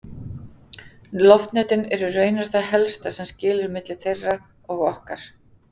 Loftnetin eru raunar það helsta sem skilur milli þeirra og okkar!